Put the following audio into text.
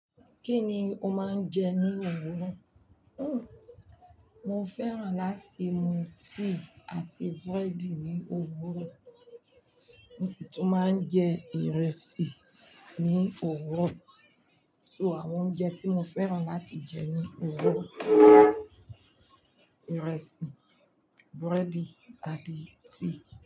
Kí ni o máa ń jẹ ní òwúrọ̀? Mo fẹ́ràn láti mu tíì àti búrẹ́dì ní òwúrọ̀. Mo si tun máa ń jẹ ìrẹsì ní òwúrọ̀. So àwọn oúnjẹ tí mo fẹ́ràn láti jẹ ní òwúrọ̀ ìrẹsì, búrẹ́dì àti tíì.